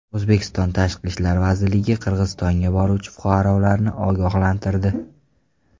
O‘zbekiston Tashqi ishlar vazirligi Qirg‘izistonga boruvchi fuqarolarni ogohlantirdi .